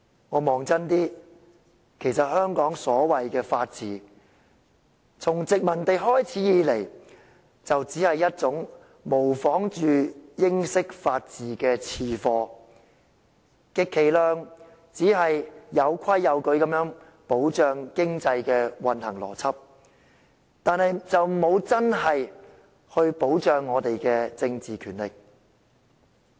看清楚一點，香港所謂的法治，從殖民地開始以來，就只是一種模仿英式法治的次貨，充其量只是有規有矩地保障經濟運行的邏輯，但卻沒有真正保障我們的政治權力。